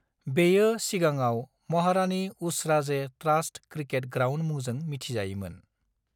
बेयो सिगाङाव Maharani Usharaje trust cricket ground मुंजों मिन्थिजायोमोन।